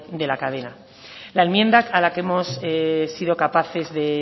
de la cadena la enmienda a la que hemos sido capaces de